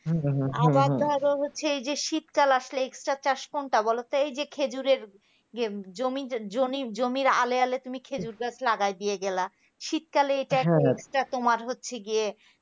আবার ধর হচ্ছে এই যে শীতকাল আসলে extra চাষ কোনটা বলতো এই যে খেজুরের জমি জমির আলে আলে তুমি খেজুর গাছ লাগাই দিয়ে গেলা শীতকালে এই একটা extra তোমার হচ্ছে গিয়ে